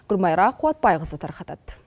гүлмайра қуатбайқызы тарқатады